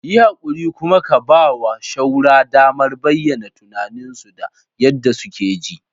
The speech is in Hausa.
Yi haƙuri kuma ka ba wa shaura damar bayyana tunaninsu da yadda suke ji.